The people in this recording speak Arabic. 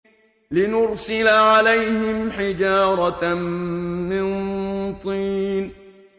لِنُرْسِلَ عَلَيْهِمْ حِجَارَةً مِّن طِينٍ